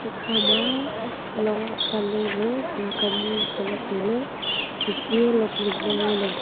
ekhama long akanleley mikhuak ani ngoley tailay hukhi eh long ding ma ngoley.